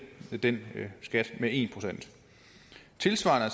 den skat med en procent tilsvarende